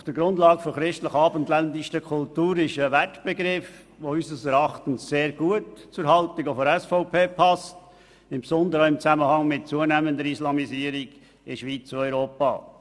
Auf der Grundlage der christlich-abendländischen Kultur» ist ein Begriff, der auch sehr gut zur Haltung der SVP passt, insbesondere im Zusammenhang mit der zunehmenden Islamisierung der Schweiz und Europas.